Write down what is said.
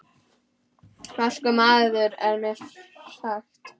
Vaskur maður er mér sagt.